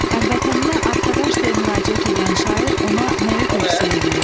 Həmvətəninə qardaş deyə müraciət eləyən şair ona nəyi tövsiyə eləyir?